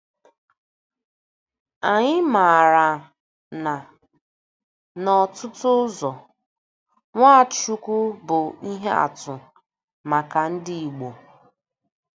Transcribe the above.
Anyị maara na n’ọtụtụ ụzọ Nwachukwu bụ ihe atụ maka ndị Igbo.